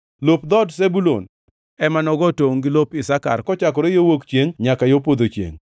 Lop dhood Zebulun ema nogo tongʼ gi lop Isakar kochakore yo wuok chiengʼ nyaka yo podho chiengʼ.